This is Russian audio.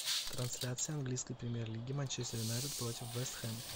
трансляция английской премьер лиги манчестер юнайтед против вест хэм